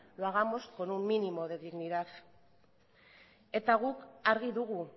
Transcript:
lo hagamos con un mínimo de dignidad eta guk argi dugu